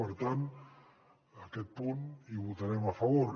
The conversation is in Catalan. per tant a aquest punt hi votarem a favor